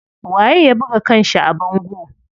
Waye ya buga kanshi a bango?